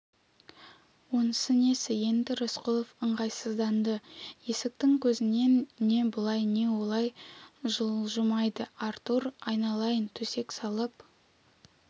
онысы несі енді рысқұлов ыңғайсызданды есіктің көзінен не былай не олай жылжымайды артур айналайын төсек салып